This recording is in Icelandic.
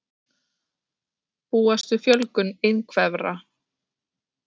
Búast við fjölgun einhverfra